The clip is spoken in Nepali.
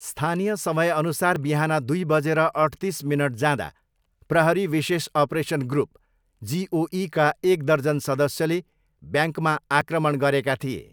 स्थानीय समयअनुसार बिहान दुई बजेर अठतिस मिनट जाँदा प्रहरी विशेष अपरेसन ग्रुप, जिओईका एक दर्जन सदस्यले ब्याङ्कमा आक्रमण गरेका थिए।